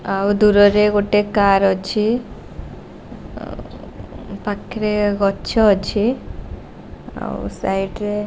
ଆଉ ଦୂରରେରେ ଗୋଟେ କାର ଅଛି ପାଖରେ ଗଛ ଅଛି ଆଉ ସାଇଡ଼୍ ରେ--